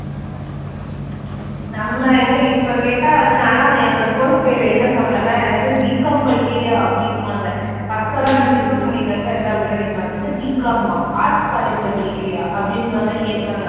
நம்ம எங்க இப்ப கேட்டா வந்து நான் எல்லாம் என்னோட course பேரு வெளில சொன்னேன்னா என்னது Bcom படிக்கிறியா அப்படி என்பாங்க. first எல்லாம் நான் BPharm படிக்கிறப்ப எல்லாம் அப்படி தான் கேட்பாங்க. என்ன Bcom ஆ arts college ல படிக்கிறியா அப்படின்ற மாதிரி கேட்பாங்க